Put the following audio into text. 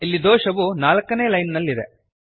ಇಲ್ಲಿ ದೋಷವು 4 ನೇ ಲೈನ್ ನಲ್ಲಿದೆ